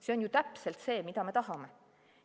See on ju täpselt see, mida me tahame!